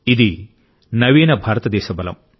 ఇది నవీన భారతదేశబలం